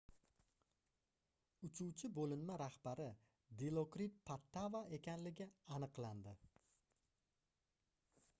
uchuvchi boʻlinma rahbari dilokrit pattava ekanligi aniqlandi